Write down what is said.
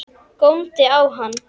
Góndi á hann.